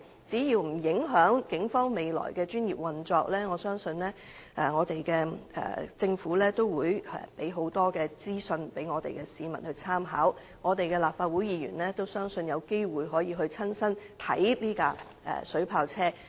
只要不影響警方的專業運作，我相信政府定會提供大量資訊讓市民參考，我亦相信立法會議員會有機會親身視察這輛水炮車。